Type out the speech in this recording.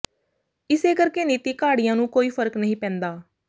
ਇਸੇ ਕਰਕੇ ਨੀਤੀ ਘਾੜਿਆਂ ਨੂੰ ਕੋਈ ਫਰਕ ਨਹੀਂ ਪੈਂਦਾ